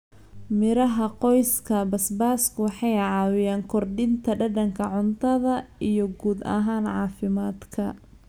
Miraha qoyska basbaasku waxay caawiyaan kordhinta dhadhanka cuntada iyo guud ahaan caafimaadka.